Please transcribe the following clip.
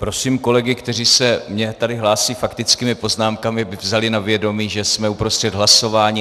Prosím kolegy, kteří se mně tady hlásí faktickými poznámkami, aby vzali na vědomí, že jsme uprostřed hlasování.